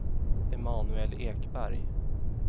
Emanuel Ekberg